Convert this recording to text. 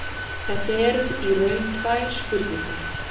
Þetta eru í raun tvær spurningar.